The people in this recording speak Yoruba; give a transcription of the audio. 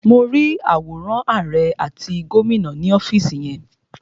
Mo rí àwòrán àrẹ àti gómìnà ni ọ́fìsì yẹn.